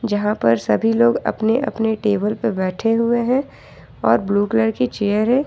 यहां पर सभी लोग अपने अपने टेबल पर बैठे हुए हैं और ब्लू कलर की चेयर है।